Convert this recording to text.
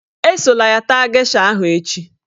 Esola ya taa gesha ahụ echi